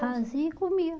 Fazia e comia.